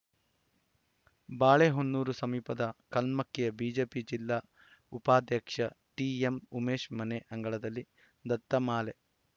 ಬಾಳೆಹೊನ್ನೂರು ಸಮೀಪದ ಕಲ್ಮಕ್ಕಿಯ ಬಿಜೆಪಿ ಜಿಲ್ಲಾ ಉಪಾಧ್ಯಕ್ಷ ಟಿಎಂ ಉಮೇಶ್‌ ಮನೆ ಅಂಗಳದಲ್ಲಿ ದತ್ತಮಾಲೆ